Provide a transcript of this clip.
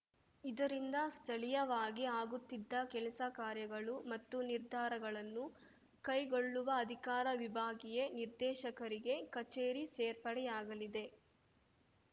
ಇದರಿಂದ ಸ್ಥಳೀಯವಾಗಿ ಆಗುತ್ತಿದ್ದ ಕೆಲಸ ಕಾರ್ಯಗಳು ಮತ್ತು ನಿರ್ಧಾರಗಳನ್ನು ಕೈಗೊಳ್ಳುವ ಅಧಿಕಾರ ವಿಭಾಗೀಯ ನಿರ್ದೇಶಕರಿಗೆ ಕಚೇರಿ ಸೇರ್ಪಡೆಯಾಗಲಿದೆ